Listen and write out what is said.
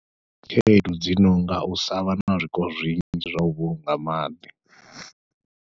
Khaedu dzi nonga u sa vha na zwiko zwinzhi zwa u vhulunga maḓi.